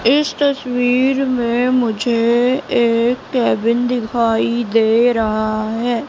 इस तस्वीर में मुझे एक केबिन दिखाई दे रहा है।